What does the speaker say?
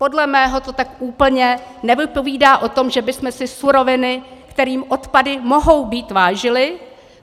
Podle mého to tak úplně nevypovídá o tom, že bychom si suroviny, kterými odpady mohou být, vážili.